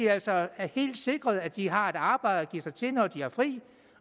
altså er helt sikret at de har et arbejde at give sig til når de har fri